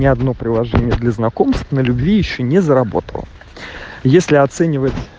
ни одно приложение для знакомств на любви ещё не заработал если оценивать